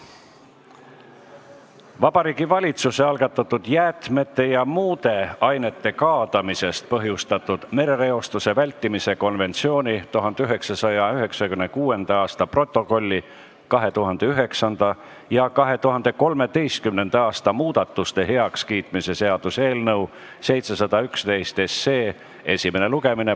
Vabariigi Valitsuse algatatud jäätmete ja muude ainete kaadamisest põhjustatud merereostuse vältimise konventsiooni 1996. aasta protokolli 2009. ja 2013. aasta muudatuste heakskiitmise seaduse eelnõu 711 esimene lugemine.